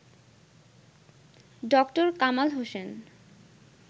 ড. কামাল হোসেন